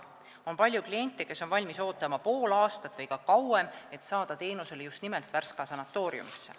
On palju kliente, kes on valmis ootama pool aastat või ka kauem, et saada teenust just nimelt Värska sanatooriumis.